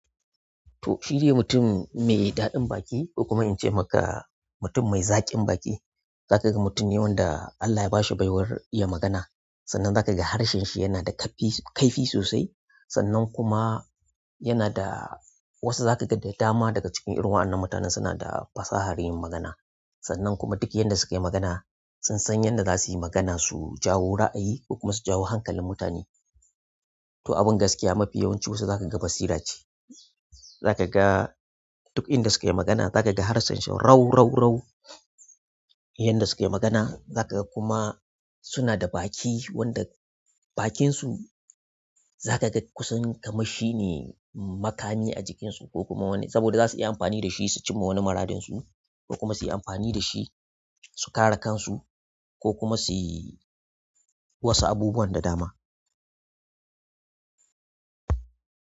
To, shi dai mutum mai ɗadin baki ko kuma in ce maka mutum mai zaƙin baki. Za ka ga mutumi wanda Allah ya ba shi baiwar iya magana, sannan za ka ga harshen shi yana da kaifi sosai. Sannan kuma yana da wasu da dama daga ciki waɗannan irin mutanan suna da fasahar magana sannan kuma duk yanda sukayi magana, sun san yanda zasuyi magana su jawo raayi ko kuma su jawo hankalin mutaneh to, abin gaskiya mafi yawancin wasu za ka ga basira ce. Za ka ga duk inda suke magana za ka ga harshen su rau rau rau. Yanda sukai magana za ka ga kuma suna da baƙi wanda bakinsu zakaga kusan kamar shine makami a jikinsu koh kuma wani saboda zasu iya amfani dashi su cimma wani muradinsu ko kuma su yi amfani da shi su kare kansu ko kuma suyi wasu abubuwan da dama.